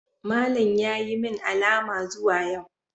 Malam ya yi min alama zuwa yau.